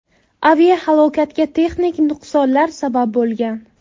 Aviahalokatga texnik nuqsonlar sabab bo‘lgan.